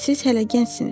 Siz hələ gəncsiniz.